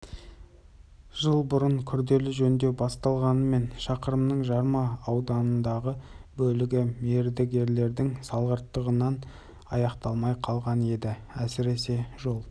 семей қаласы мен қалбатау ауылын жалғайтын жолдың аяқталмаған шақырымы толық жөнделмек ол халықаралық маңызы бар омбы-майқапшағай тасжолының бір бөлігі